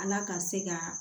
Ala ka se ka